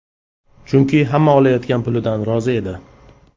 Chunki hamma olayotgan pulidan rozi edi.